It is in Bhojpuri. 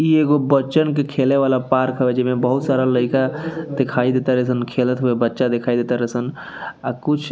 ई एगो बच्चान के खेले वाला पार्क हवे जेमे बहुत सारा लईका दिखाई देतारे सन खेलत हुए बच्चा दिखाई देतारे सन और कुछ --